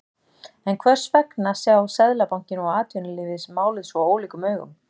En hvers vegna sjá Seðlabankinn og atvinnulífið málið svo ólíkum augum?